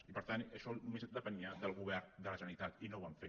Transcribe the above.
i per tant això només depenia del govern de la generalitat i no ho van fer